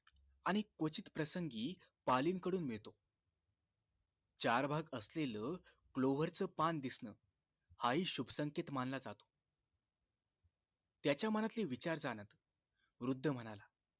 आणि क्वचित प्रसंगी पालींकडून मिळतो चार भाग आसलेल क्लोवरच पान दिसणं हा ही शुभ संकेत मानला जातो त्याच्या मनातील विचार जाणत वृद्ध म्हणाला